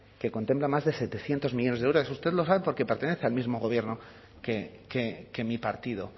que contempla más de setecientos millónes de euros eso usted lo sabe porque pertenece al mismo gobierno que mi partido